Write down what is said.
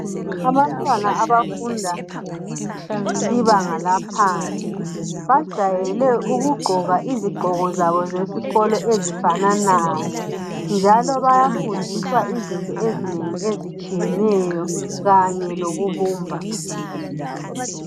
Abantwana abafunda ibanga laphansi. Bajayele kugqoka izigqoko zabo zesikolo ezifananayo, njalo, bayafundiswa izifundo zabo ezitshiyeneyo. Kanye lokubumba.